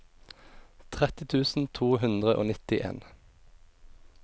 tretti tusen to hundre og nittien